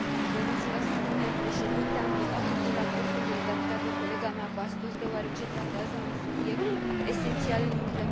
Am votat pentru raportul redactat de colega mea Bastos deoarece tratează un subiect esențial în implementarea Strategiei Europa